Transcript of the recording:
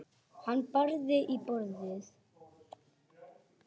Hann barði í borðið.